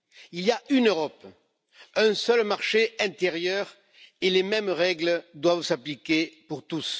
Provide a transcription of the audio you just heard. Il y a une Europe, un seul marché intérieur et les mêmes règles doivent s'appliquer pour tous.